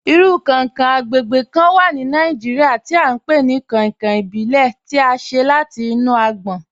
Irú kán-rinkan agbègbè kán wà ní Nàìjíríà tí à n pe ni 'kankan ìbílè' tí à ṣe láti inú àgbòn.